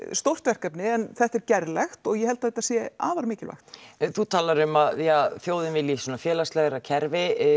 stórt verkefni en þetta er gerlegt og ég held þetta sé afar mikilvægt þú talar um að já þjóðin vilji svona félagslegra kerfi